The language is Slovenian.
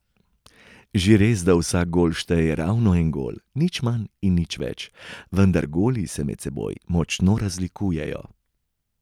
Že res, da vsak gol šteje ravno en gol, nič manj in nič več, vendar goli se med seboj močno razlikujejo.